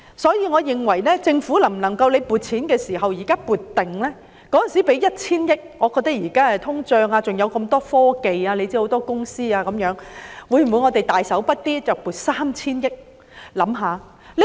因此，我認為政府可考慮預先撥款，既然當年撥出 1,000 億元，如今顧及通脹及科技公司眾多，當局可否"大手筆"地撥出 3,000 億元呢？